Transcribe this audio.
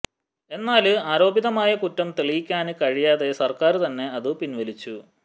എന്നാല് ആരോപിതമായ കുറ്റം തെളിയിക്കാന് കഴിയാതെ സര്ക്കാര് തന്നെ അതു പിന്വലിച്ചു